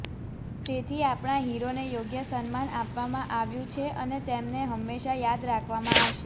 તેથી આપણા હીરોને યોગ્ય સન્માન આપવામાં આવ્યું છે અને તેમને હંમેશા યાદ રાખવામાં આવશે